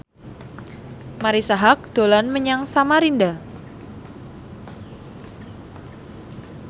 Marisa Haque dolan menyang Samarinda